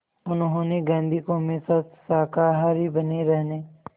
उन्होंने गांधी को हमेशा शाकाहारी बने रहने